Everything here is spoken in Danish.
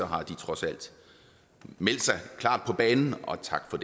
har trods alt meldt sig klar på banen og tak for